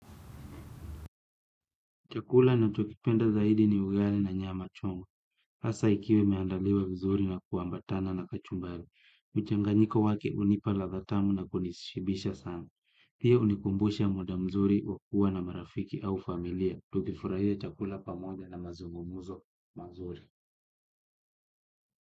Chakula nachokipenda zaidi ni ugali na nyama choma. Hasa ikiwa imeandaliwa vizuri na kuambatana na kachumbali. Mchanganiko wake hunipa ladha tamu na kunishibisha sana. Pia hunikumbusha muda mzuri wa kua na marafiki au familia. Tukifurahia chakula pamoja na mazungumuzo mazuri.